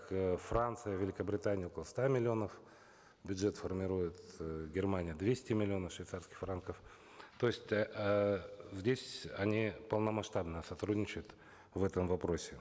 э франция великобритания около ста миллионов бюджет формируют э германия двести миллионов швейцарских франков то есть эээ здесь они полномасштабно сотрудничают в этом вопросе